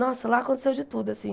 Nossa, lá aconteceu de tudo, assim.